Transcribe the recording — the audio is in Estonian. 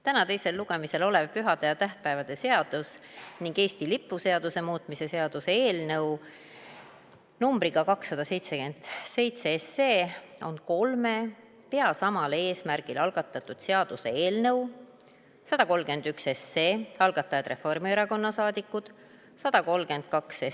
Täna teisel lugemisel olev pühade ja tähtpäevade seaduse ning Eesti lipu seaduse muutmise seaduse eelnõu numbriga 277 on kolme pea samal eesmärgil algatatud seaduseelnõu – 131, algatajad Reformierakonna liikmed, 132,